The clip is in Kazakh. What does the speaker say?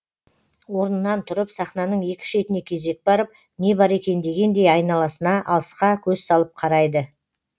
орнынан тұрып сахнаның екі шетіне кезек барып не бар екен дегендей айналасына алысқа көз салып қарайды